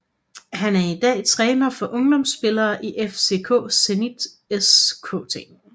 Han er i dag træner for ungdomsspillere i FC Zenit Skt